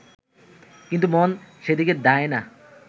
কিন্তু মন সেদিকে ধায় না